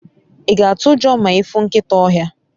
i ga atu ujo ma ifu nkita ohia?